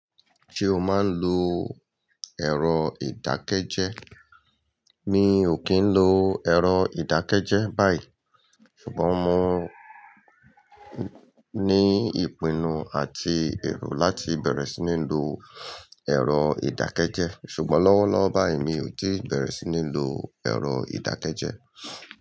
Ṣé o máa ń lo ẹ̀rọ ìdákẹ́jẹ́? Mi ò kí ń lo ẹ̀rọ ìdákẹ́jẹ́ báyìí, ṣùgbọ́n mo ní ìpinnu àti ẹ̀rù láti bẹ̀rẹ̀ sí ní lo ẹ̀rọ ìdákẹ́jẹ́. Ṣùgbọ́n lọ́wọ́lọ́wọ́ báyìí mi ò tíì bẹ̀rẹ̀ sí ní lo ẹ̀rọ ìdákẹ́jẹ́.